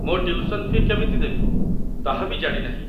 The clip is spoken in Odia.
ମୋ ଟ୍ୟୁସନ୍ ଫି' କେମିତି ଦେବି, ତାହା ବି ଜାଣିନାହିଁ